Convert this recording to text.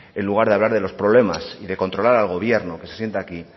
en lugar de hablar de los problemas y de controlar al gobierno que se sienta aquí